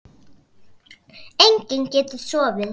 Enginn getur sofið.